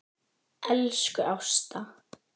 Elsku Ásta.